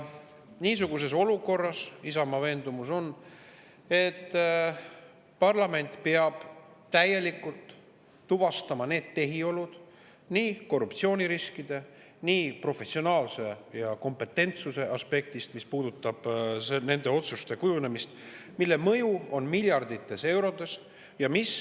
Niisuguses olukorras on Isamaa veendumus, et parlament peab täielikult tuvastama nii korruptsiooniriskide, professionaalsuse kui ka kompetentsuse aspektist need tehiolud, mis puudutavad nende otsuste kujunemist, mille mõju on miljardites eurodes.